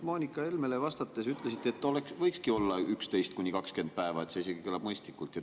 Moonika Helmele vastates te ütlesite, et võikski olla 11–20 päeva ja et see isegi kõlab mõistlikult.